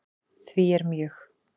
Því er mjög